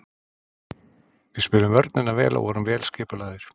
Við spiluðum vörnina vel og vorum vel skipulagðir.